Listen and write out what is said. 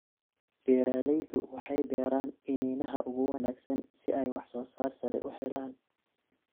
Beeraleydu waxay beeraan iniinaha ugu wanaagsan si ay waxsoosaar sare u helaan.